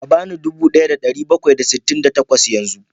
Ka ba ni dubu ɗaya da ɗari bakwai da sittin da takwas yanzu